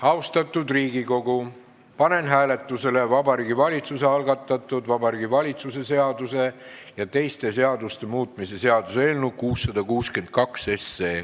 Austatud Riigikogu, panen hääletusele Vabariigi Valitsuse algatatud Vabariigi Valitsuse seaduse ja teiste seaduste muutmise seaduse eelnõu 662.